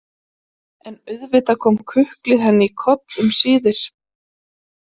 En auðvitað kom kuklið henni í koll um síðir.